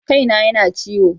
Kai na ya na ciwo.